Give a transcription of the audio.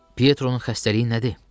Pietro-nun xəstəliyi nədir?